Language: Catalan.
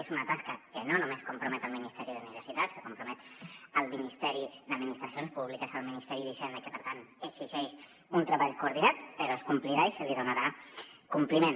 és una tasca que no només compromet el ministeri d’universitats que compromet el ministeri d’administracions públiques el ministeri d’hisenda i que per tant exigeix un treball coordinat però es complirà i se li donarà compliment